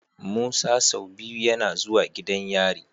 Musa sau biyu YAna zuwa gidan yari